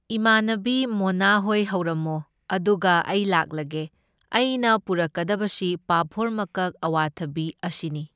ꯏꯃꯥꯟꯅꯕꯤ ꯃꯣꯅꯥꯍꯣꯏ ꯍꯧꯔꯝꯃꯣ, ꯑꯗꯨꯒ ꯑꯩ ꯂꯥꯛꯂꯒꯦ꯫ ꯑꯩꯅ ꯄꯣꯔꯛꯀꯗꯕꯁꯤ ꯄꯥꯐꯣꯔ ꯃꯀꯛ, ꯑꯋꯥꯊꯕꯤ ꯑꯁꯤꯅꯤ꯫